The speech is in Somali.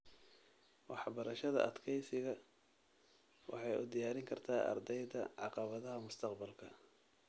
Waxbarashada adkeysiga waxay u diyaarin kartaa ardayda caqabadaha mustaqbalka.